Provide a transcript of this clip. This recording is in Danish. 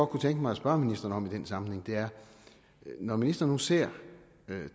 kunne tænke mig at spørge ministeren om i den sammenhæng er når ministeren nu ser